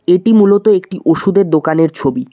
এটি মূলত একটি ওষুধের দোকানের ছবি।